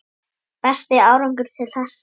Besti árangur til þessa?